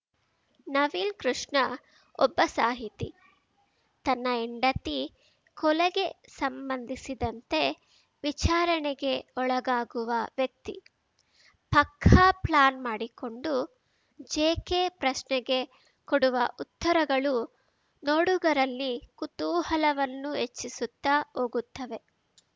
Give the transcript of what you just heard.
ನವೀನ್‌ ಕೃಷ್ಣ ಒಬ್ಬ ಸಾಹಿತಿ ತನ್ನ ಹೆಂಡತಿ ಕೊಲೆಗೆ ಸಂಬಂಧಿಸಿದಂತೆ ವಿಚಾರಣೆಗೆ ಒಳಗಾಗುವ ವ್ಯಕ್ತಿ ಪಕ್ಕಾ ಪ್ಲ್ಯಾನ್‌ ಮಾಡಿಕೊಂಡು ಜೆಕೆ ಪ್ರಶ್ನೆಗೆ ಕೊಡುವ ಉತ್ತರಗಳು ನೋಡುಗರಲ್ಲಿ ಕುತೂಹಲವನ್ನು ಹೆಚ್ಚಿಸುತ್ತಾ ಹೋಗುತ್ತವೆ